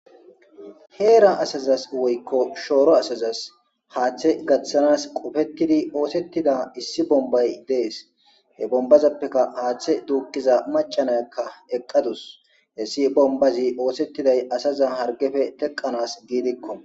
heera asazas woykko shooro asazas haaththe gaththanas qofettidi oosettida issi bombay dees he bombazappeka haaththe duukiza macanayakka eqqadus hessi bombazi oosettiday asaza hargefe teqanas giidikko